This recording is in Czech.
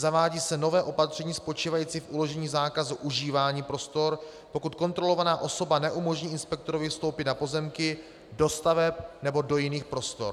Zavádí se nové opatření spočívající v uložení zákazu užívání prostor, pokud kontrolovaná osoba neumožní inspektorovi vstoupit na pozemky, do staveb nebo do jiných prostor.